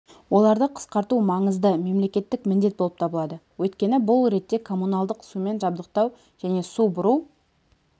оларды қысқарту маңызды мемлекеттік міндет болып табылады өйткені бұл ретте коммуналдық сумен жабдықтау және су бұру